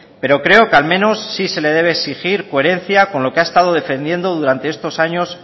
pero creo que al menos sí se le debe exigir coherencia con lo que ha estado defendiendo durante estos años